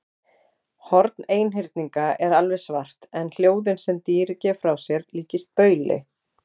Horn einhyrninga er alveg svart en hljóðin sem dýrið gefur frá sér líkjast bauli.